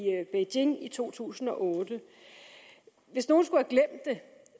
beijing i to tusind og otte hvis nogen skulle have glemt det